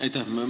Aitäh!